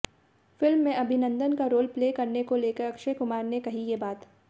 film में अभिनंदन का role play करने को लेकर अक्षय कुमार ने कही ये बात